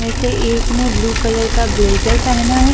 वेसे एक ने ब्लू कलर का ब्लेजर पहना है।